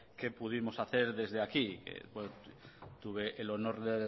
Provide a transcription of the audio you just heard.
que pudimos hacer desde aquí tuve el honor de